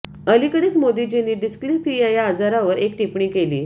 अलीकडेच मोदीजींनी डिस्लेक्सिया या आजारावर एक टिप्पणी केली